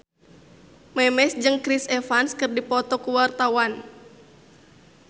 Memes jeung Chris Evans keur dipoto ku wartawan